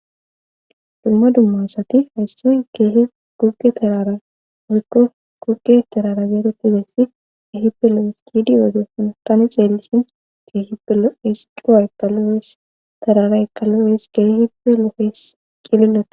Dumma dummasati hayssoy keehi gugge terara wikko gugge terara zeegetibeessi ehipe loesidiwedefon tani xeellishin keehipelo esi qowa ekalu wees terara eqalu wees geeihibe loohees qillilos.